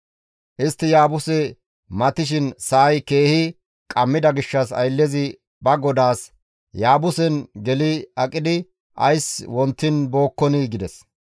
Istti Yaabuse matishin sa7ay keehi qammida gishshas ayllezi ba godaas, «Yaabusen geli aqidi ays wontiin bookkonii?» gides.